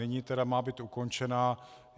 Nyní tedy má být ukončená.